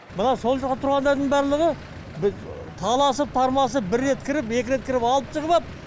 мына сол жақта тұрғандардың барлығы таласып тармасып бір рет кіріп екі рет кіріп алып тұрып ап